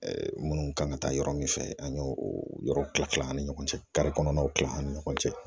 minnu kan ka taa yɔrɔ min fɛ an y'o yɔrɔw kila kila an ni ɲɔgɔn cɛ kari kɔnɔnaw kila ani ɲɔgɔn cɛ